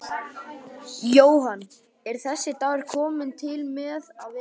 Jóhann: Er þessi dagur kominn til með að vera?